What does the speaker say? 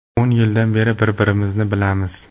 O‘n yildan beri bir-birimizni bilamiz.